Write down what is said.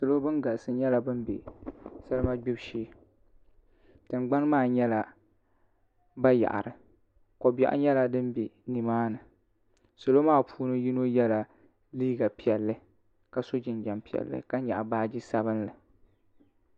salo bin galisi nyɛla bin bɛ salima gbibu shee tingbani maa nyɛla bayaɣari ko biɛɣu nyɛla din bɛ nimaani salo maa puuni yino yɛla liiga piɛlli ka so jinjɛm piɛlli ka nyaɣa baaji sabinli